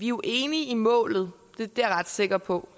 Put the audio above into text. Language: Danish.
jo enige i målet det er jeg ret sikker på